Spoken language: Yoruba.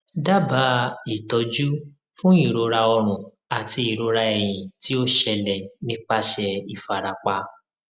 dábàá ìtọjú fún ìrora ọrùn àti ìrora ẹyìn tí ó ṣẹlẹ nípasẹ ìfarapa